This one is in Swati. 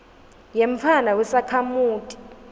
yemntfwana wesakhamuti